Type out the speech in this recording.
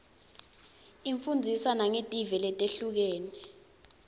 ifundzisa nangetive letihlukile